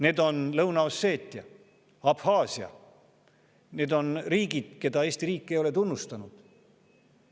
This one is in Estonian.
Need on Lõuna-Osseetia, Abhaasia, need on riigid, keda Eesti riik ei ole tunnustanud.